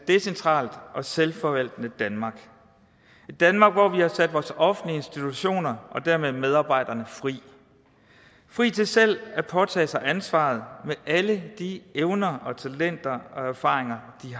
decentralt og selvforvaltende danmark et danmark hvor vi har sat vores offentlige institutioner og dermed medarbejderne fri fri til selv at påtage sig ansvaret med alle de evner og talenter og erfaringer de